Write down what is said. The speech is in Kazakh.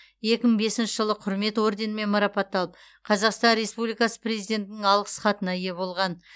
екі мың бесінші жылы құрмет орденімен марапатталып қазақстан республикасы президентінің алғыс хатына ие болған